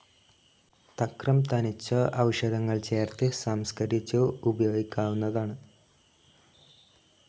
തക്രം തനിച്ചോ ഔഷധങ്ങൾ ചേർത്ത് സംസ്കരിച്ചോ ഉപയോഗിക്കാവുന്നതാണ്.